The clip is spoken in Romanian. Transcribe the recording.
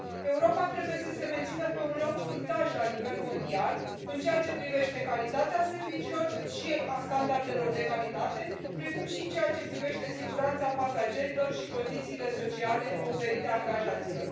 Europa trebuie să se mențină pe un loc fruntaș la nivel mondial atât în ceea ce privește calitatea serviciilor, cât și a standardelor de calitate, precum și în ceea ce privește siguranța pasagerilor și condițiile sociale oferite angajaților.